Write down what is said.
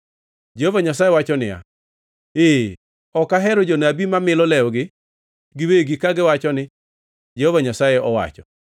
Jehova Nyasaye wacho niya, “Ee, ok ahero jonabi ma milo lewgi giwegi kagiwacho ni, ‘Jehova Nyasaye owacho.’ ”